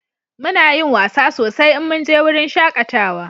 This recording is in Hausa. Muna yin wasa sosai in mun je wurin shakatawa